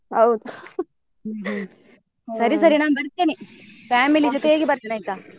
ಹೌದು ನಾನ್ ಬರ್ತೇನೆ ಜೊತೆಗೆ ಬರ್ತೇನೆ ಆಯ್ತಾ?